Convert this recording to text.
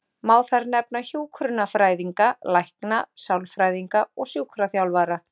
Má þar nefna hjúkrunarfræðinga, lækna, sálfræðinga og sjúkraþjálfara.